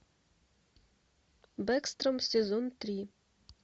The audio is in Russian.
бэкстром сезон три